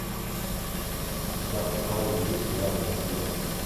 у тебя в каталоге есть сериал восприятие